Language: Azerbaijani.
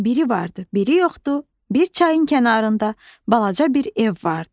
Biri vardı, biri yoxdu, bir çayın kənarında balaca bir ev vardı.